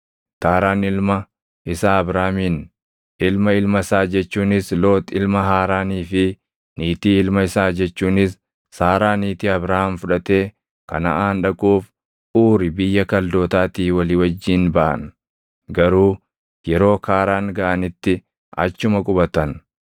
Taaraan ilma isaa Abraamin, ilma ilma isaa jechuunis Loox ilma Haaraanii fi niitii ilma isaa jechuunis Saaraa niitii Abraam fudhatee Kanaʼaan dhaquuf, Uuri biyya Kaldootaatii walii wajjin baʼan; garuu yeroo Kaaraan gaʼanitti achuma qubatan.